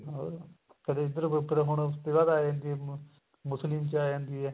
ਹੋਰ ਕਦੇ ਇੱਧਰਲੇ group ਹੁਣ ਆ ਜਾਂਦੀ ਏ ਮੁਸਲਿਮ ਚ ਆ ਜਾਂਦੀ ਏ